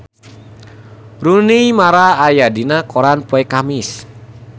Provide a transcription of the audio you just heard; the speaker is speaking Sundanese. Rooney Mara aya dina koran poe Kemis